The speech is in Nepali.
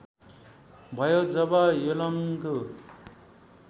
भयो जब योलङ्गु